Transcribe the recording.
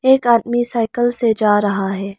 एक आदमी साइकिल से जा रहा है।